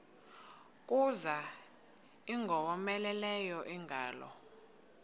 kuza ingowomeleleyo ingalo